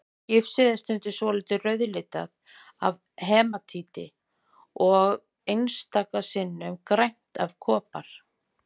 Gifsið er stundum svolítið rauðlitað af hematíti og einstaka sinnum grænt af kopar.